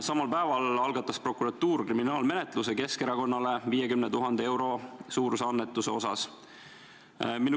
Samal päeval algatas prokuratuur kriminaalmenetluse Keskerakonnale 50 000 euro suuruse annetuse asjas.